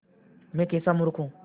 मैं कैसा मूर्ख हूँ